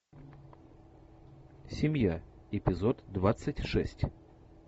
семья эпизод двадцать шесть